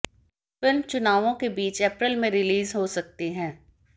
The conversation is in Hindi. फिल्म चुनावों के बीच अप्रैल में रिलीज हो सकती है